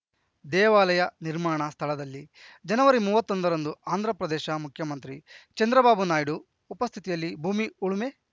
ದೇವಾಲಯ ನಿರ್ಮಾಣ ಸ್ಥಳದಲ್ಲಿ ಜನವರಿ ಮೂವತ್ತೊಂದರಂದು ಆಂಧ್ರ ಪ್ರದೇಶ ಮುಖ್ಯಮಂತ್ರಿ ಚಂದ್ರಬಾಬು ನಾಯ್ಡು ಉಪಸ್ಥಿತಿಯಲ್ಲಿ ಭೂಮಿ ಉಳುಮೆ